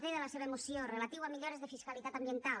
d de la seva moció relatiu a millores de fiscalitat ambiental